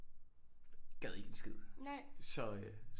Gad ikke en skid så øh